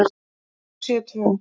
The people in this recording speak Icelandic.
Þau séu tvö.